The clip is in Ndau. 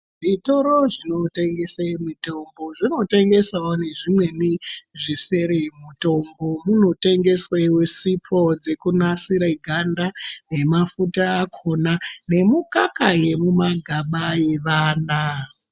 Zvitoro zvinotengesa mitombo zvinotengesa nezvimweni zvisiri mutombo munotengeswa sipo dzekunasira ganda remafuta akona nemukaka yemumagaba emwana.